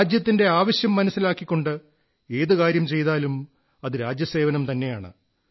രാജ്യത്തിന്റെ ആവശ്യം മനസ്സിലാക്കിക്കൊണ്ട് ഏതു കാര്യം ചെയ്താലും അത് രാജ്യസേവനം തന്നെയാണ്